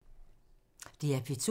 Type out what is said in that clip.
DR P2